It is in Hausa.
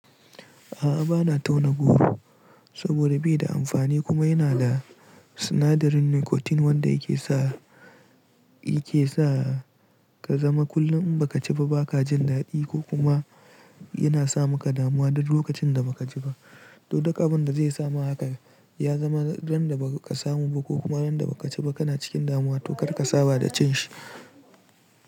A'a bana tauna goro saboda bai da amfani kuma yana da sinadarin nicotine wanda yake sa yake sa ka zama kullum in baka ci ba baka jin dadi ko kuma yana sa maka damuwa duk lokacin da baka ci ba. To duk abinda zai samu hakan ya zama ran da baka samu ba ko kuma ran da baka ci ba kana cikin damuwa to kar ka saba da cin shi.